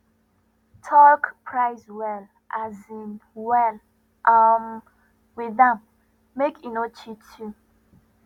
talk price well um well um with am make e no cheat you